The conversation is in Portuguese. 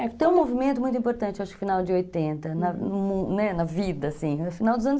É, tem um movimento muito importante, acho que no final de oitenta, na vida, assim, no final dos anos